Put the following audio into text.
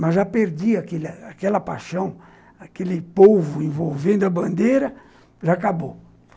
Mas já perdi aquela paixão, aquele polvo envolvendo a bandeira, já acabou.